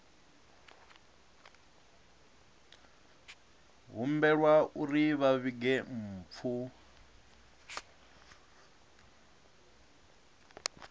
humbelwa uri vha vhige mpfu